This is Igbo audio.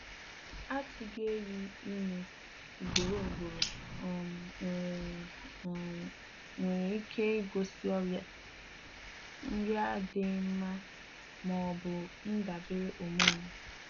Atugehị ime ugboro ugboro um nwere um nwere ike igosi ọrịa, nri adịghị nma, ma ọ bụ ndabere hormone.